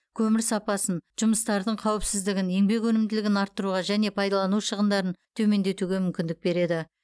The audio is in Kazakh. көмір сапасын жұмыстардың қауіпсіздігін еңбек өнімділігін арттыруға және пайдалану шығындарын төмендетуге мүмкіндік береді